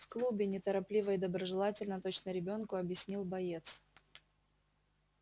в клубе неторопливо и доброжелательно точно ребёнку объяснил боец